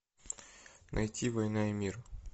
найти война и мир